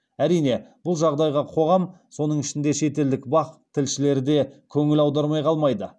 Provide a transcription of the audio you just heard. әрине бұл жағдайға қоғам соның ішінде шетелдік бақ тілшілері де көңіл аудармай қалмайды